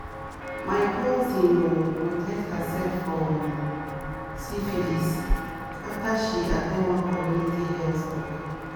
my cousin ah protect herself from syphilis after she go at ten d one community health talk."